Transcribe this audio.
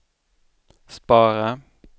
spara